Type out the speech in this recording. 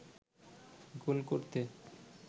গোল করতে